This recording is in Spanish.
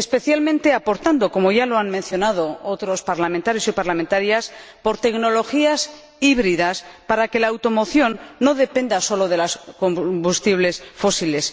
especialmente apostando —como ya lo han mencionado otros parlamentarios y parlamentarias— por tecnologías híbridas, para que la automoción no dependa sólo de los combustibles fósiles.